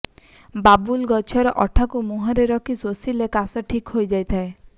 ବାବୁଲ ଗଛର ଅଠାକୁ ମୁହଁରେ ରଖି ଶୋଷିଲେ କାଶ ଠିକ୍ ହୋଇ ଯାଇଥାଏ